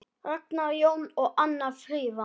Ragnar Jón og Anna Fríða.